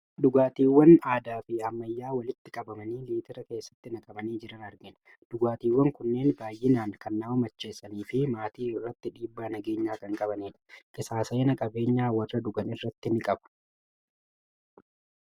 Dhugaatiiwwan aadaa fi ammayyaa walitti qabamanii litira keessatti naqamanii jiran argina. Dhugaatiiwwan kunneen baay'inaan kan nama macheessanii fi maatii irratti dhiibbaa nageenyaa kan qabanidha. Qisaasa'ina qabeenyaa warra dhugan irratti ni qaba.